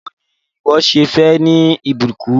Báwò ni ìwọ́ ṣe fẹ́ ní ìbùkún?